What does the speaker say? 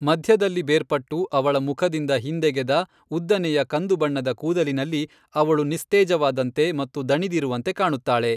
ಮಧ್ಯದಲ್ಲಿ ಬೇರ್ಪಟ್ಟು ಅವಳ ಮುಖದಿಂದ ಹಿಂದೆಗೆದ ಉದ್ದನೆಯ ಕಂದು ಬಣ್ಣದ ಕೂದಲಿನಲ್ಲಿ ಅವಳು ನಿಸ್ತೇಜವಾದಂತೆ ಮತ್ತು ದಣಿದಿರುವಂತೆ ಕಾಣುತ್ತಾಳೆ.